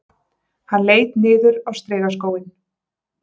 Hann leit niður á strigaskóinn